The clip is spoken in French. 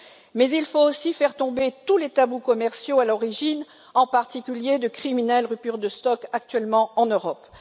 Mais il faut aussi faire tomber tous les tabous commerciaux à l'origine, en particulier, de criminelles ruptures de stock actuellement en Europe.